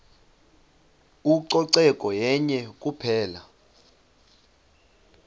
ucoceko yenye kuphela